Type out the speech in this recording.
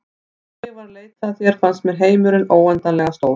Þegar ég var að leita að þér fannst mér heimurinn óendanlega stór.